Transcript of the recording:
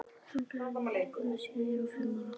Þangað hef ég ekki komið síðan ég var fimm ára.